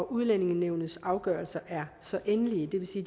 udlændingenævnets afgørelser er så endelige det vil sige